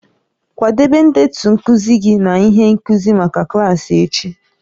Kwadebe ndetu nkuzi gị na ihe nkuzi maka klaasị echi